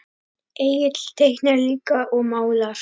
Egill teiknar líka og málar.